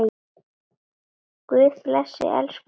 Guð blessi elsku bróður minn.